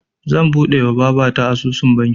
Zan buɗewa babata asusun banki